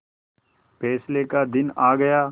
फैसले का दिन आ गया